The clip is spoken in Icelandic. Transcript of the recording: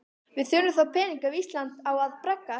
Við þurfum þá peninga ef Ísland á að braggast.